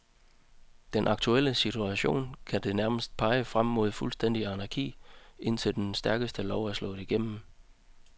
I den aktuelle situation kan det nærmest pege frem mod fuldstændig anarki, indtil den stærkestes lov er slået igennem.